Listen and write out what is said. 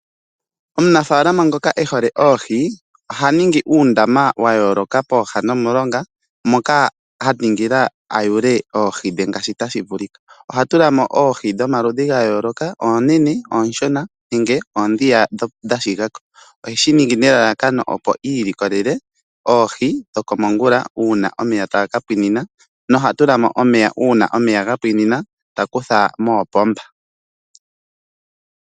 Omunafaalama ngoka e hole oohi oha ningi uundama wa yooloka pooha nomulonga mpoka a ningila a yule oohi dhe ngaashi tashi vulika. Oha tula mo oohi dhomaludhi ga yooloka, oonene, oonshona nenge oondhi dha shiga ko. Oheshi ningi nelalakano opo i ilikolele oohi dhokomongula uuna omeya taga ka pwina noha tula mo omeya uuna omeya ga pwina ta kutha koopomba.